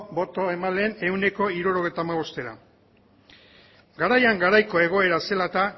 boto emaileen ehuneko hirurogeita hamabostera garaian garaiko egoera zela eta